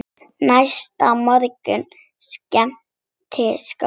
Næsta morgun skein sólin glatt.